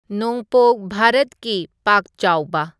ꯅꯣꯡꯄꯣꯛ ꯚꯥꯔꯠꯀꯤ ꯄꯥꯛ ꯆꯥꯎꯕ